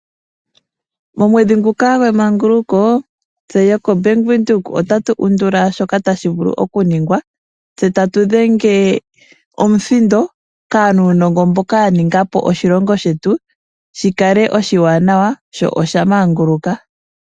Momwedhi nguka gweemaguluko tse yok Bank Windhoek otatu undula shoka tashi vulu oku ningwa. Tse tatu dhenga omuthindo kaanunongo mboka ya ninga po oshilongo shetu shi kale oshiwanawa sho osha manguluka.